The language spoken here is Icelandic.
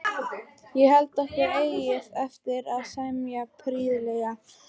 Ég held okkur eigi eftir að semja prýðilega.